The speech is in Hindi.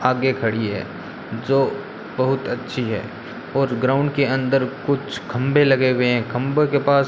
आगे खड़ी है जो बहुत अच्छी है और ग्राउंड के अंदर कुछ खंबे लगे हुए हैं खंबे के पास --